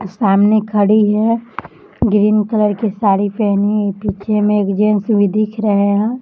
सामने खड़ी है ग्रीन कलर की साड़ी पहनी है पीछे में एक जेंट्स भी दिख रहे हैं।